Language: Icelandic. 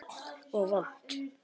Og vont.